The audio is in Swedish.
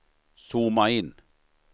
zooma in